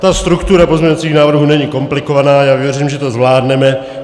Ta struktura pozměňovacích návrhů není komplikovaná, já věřím, že to zvládneme.